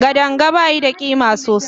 Kadanga bayi da ƙima sosai